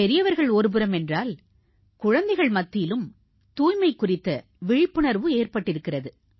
பெரியவர்கள் ஒருபுறம் என்றால் குழந்தைகள் மத்தியிலும் தூய்மை குறித்த விழிப்புணர்வு ஏற்பட்டிருக்கிறது